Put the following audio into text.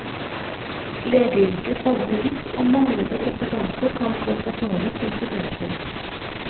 Legeyrket favner vidt, og manglende kompetanse kan få fatale konsekvenser.